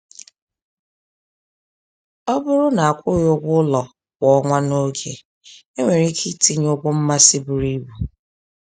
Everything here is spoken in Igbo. Ọ bụrụ na akwụghị ụgwọ ụlọ kwa ọnwa n’oge, enwere ike itinye ụgwọ mmasị buru ibu.